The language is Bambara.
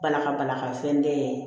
Bala ka bala ka fɛn den ye